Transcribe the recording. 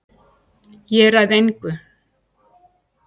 Ég ræð engu